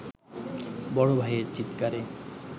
বড় ভাইয়ের চিৎকারে